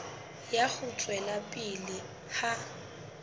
ya ho tswela pele ha